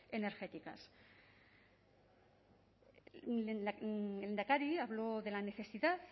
energéticas lehendakari hablo de la necesidad